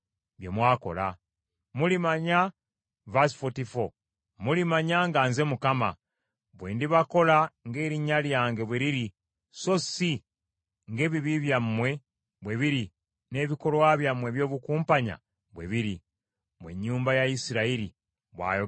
Mulimanya nga nze Mukama , bwe ndibakola ng’erinnya lyange bwe liri so si ng’ebibi byammwe bwe biri, n’ebikolwa byammwe eby’obukumpanya bwe biri, mmwe ennyumba ya Isirayiri, bw’ayogera Mukama Katonda.’ ”